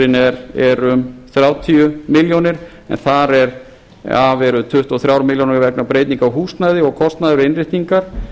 staðarvalsathuganir hagstofuliðurinn er um þrjátíu milljónir en þar af eru um tuttugu og þrjár milljónir vegna breytinga á húsnæði og kostnaði við innréttingar